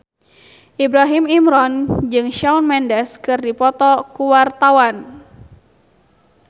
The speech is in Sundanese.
Ibrahim Imran jeung Shawn Mendes keur dipoto ku wartawan